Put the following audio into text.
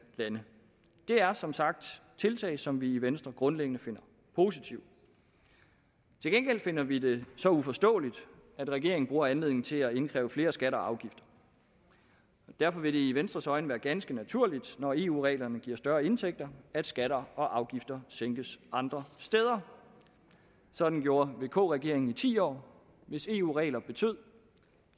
lande det er som sagt tiltag som vi i venstre grundlæggende finder positive til gengæld finder vi det så uforståeligt at regeringen bruger anledningen til at indkræve flere skatter og afgifter derfor vil det i venstres øjne være ganske naturligt når eu reglerne giver større indtægter at skatter og afgifter sænkes andre steder sådan gjorde vk regeringen i ti år hvis eu regler betød